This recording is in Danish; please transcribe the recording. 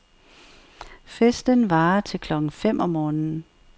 Festen varer til klokken fem om morgenen.